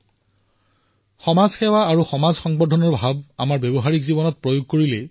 সমাজ সেৱা আৰু সমাজ সংবৰ্ধন এনে এক চিন্তাধাৰা আছিল যাক আমি আমাৰ ব্যৱহাৰিক জীৱনতো প্ৰয়োগ কৰিব লাগে